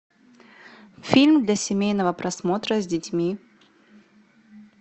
фильм для семейного просмотра с детьми